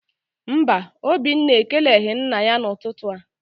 Mba, Obinna ekeleghị nna ya n'ụtụtụ a.